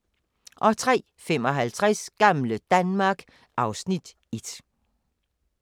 03:55: Gamle Danmark (Afs. 1)